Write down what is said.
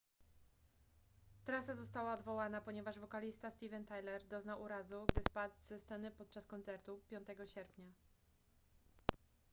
trasa została odwołana ponieważ wokalista steven tyler doznał urazu gdy spadł ze sceny podczas koncertu 5 sierpnia